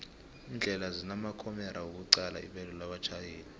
indlela zinamakhomera wokuqala ibelo labatjhayeli